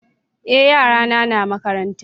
é yara na na makaranta